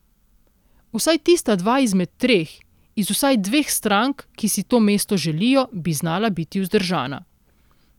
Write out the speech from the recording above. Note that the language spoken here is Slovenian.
Vsaj tista dva izmed treh, iz vsaj dveh strank, ki si to mesto želijo, bi znala biti vzdržana.